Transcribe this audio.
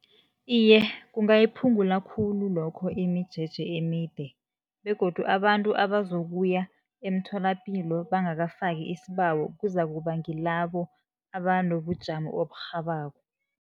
Iye, kungayiphungula khulu lokho imijeje emide., begodu abantu abazokuya emtholapilo bangakafaki isibawo, kuzakuba ngilabo abanobujamo oburhabako.